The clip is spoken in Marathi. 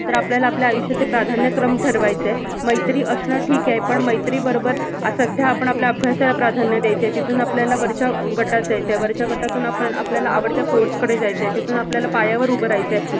तर आपल्याला आपलं आयुष्याचं प्राधान्यक्रम ठरवायचं आहे. मैत्री असणं ठीक आहे, पण मैत्री बरोबर अह सध्या आपण आपल्या अभ्यासाला प्राधान्य द्यायचं. तिथून आपल्याला वरच्या अह गटात जायचंय. वरच्या गटातून आपण आपल्याला आवडत्या course कडे जायचंय. तिथून आपल्याला पायावर उभं राहायचं आहे.